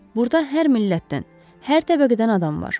Burda hər millətdən, hər təbəqədən adam var.